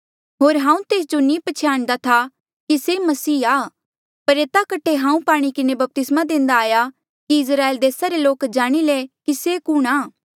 होर हांऊँ तेस जो नी पछयाणदा था कि से मसीहा पर एता कठे हांऊँ पाणी किन्हें बपतिस्मा देंदा आया कि इस्राएल देसा रे लोक जाणी ले से कुणहां